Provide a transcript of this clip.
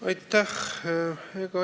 Aitäh!